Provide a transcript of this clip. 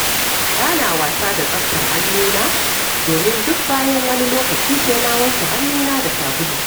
Ba na wasa da tsaftar hannuna, domin duk bayan wani lokaci sai na wanke hannuna da sabulu